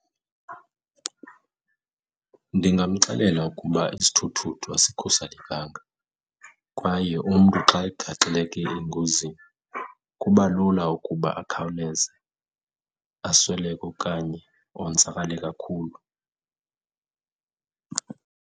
Ndingamxelela ukuba isithuthuthu asikhuselekanga kwaye umntu xa egaxeleke engozini kuba lula ukuba akhawuleze asweleke okanye onzakale kakhulu.